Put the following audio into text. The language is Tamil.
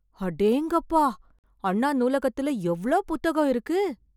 அடேங்கப்பா, அண்ணா நூலகத்துல எவ்ளோ புத்தகம் இருக்கு.